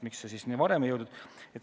Miks see siis siia varem ei jõudnud?